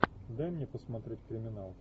дай мне посмотреть криминал